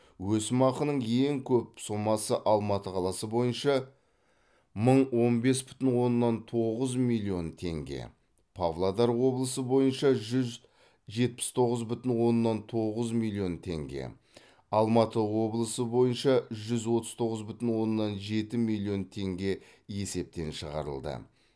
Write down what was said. өсімақының ең көп сомасы алматы қаласы бойынша мың он бес бүтін оннан тоғыз миллион теңге павлодар облысы бойынша жүз жетпіс тоғыз бүтін оннан тоғыз миллион теңге алматы облысы бойынша жүз отыз тоғыз бүтін оннан жеті миллион теңге есептен шығарылды